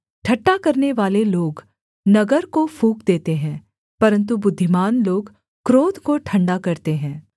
ठट्ठा करनेवाले लोग नगर को फूँक देते हैं परन्तु बुद्धिमान लोग क्रोध को ठण्डा करते हैं